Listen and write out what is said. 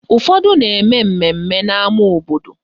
Ụfọdụ na-eme mmemme n'ama obodo